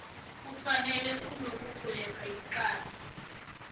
kufana nokugweba icala